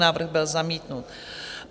Návrh byl zamítnut.